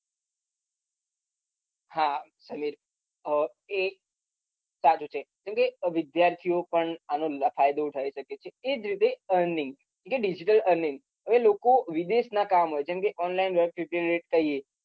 હા આહ કેમ કે વિદ્યાર્થી ઓ પણ ફાયદો ઉઠાવી શકે છે એ જ રીતે earning કે digital earning વિદેશ ના કામ હોય જેમ કે online